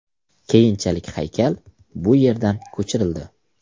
Keyinchalik haykal bu yerdan ko‘chirildi.